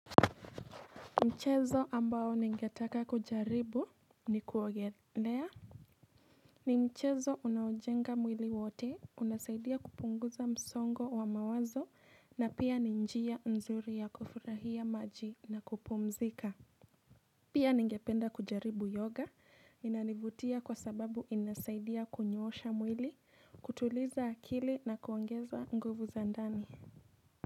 Mchezo ambao ningetaka kujaribu ni kuogelea ni mchezo unaojenga mwili wote, unasaidia kupunguza msongo wa mawazo na pia ni njia nzuri ya kufurahia maji na kupumzika Pia ningependa kujaribu yoga inanivutia kwa sababu inasaidia kunyoosha mwili, kutuliza akili na kuongeza nguvu za ndani.